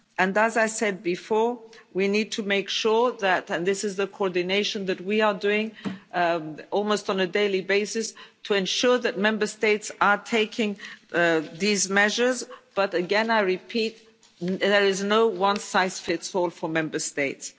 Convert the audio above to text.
And as I said before, we need to make sure that and this is the coordination that we are doing, almost on a daily basis Member States are taking these measures, but, again, I repeat there is no one size fits all approach for Member States.